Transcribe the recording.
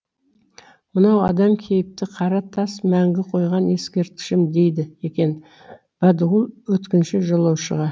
мынау адам кейіпті қара тас мәңгі қойған ескертішім дейді екен бәдіғұл өткінші жолаушыға